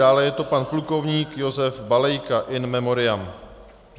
Dále je to pan plukovník Josef Balejka in memoriam.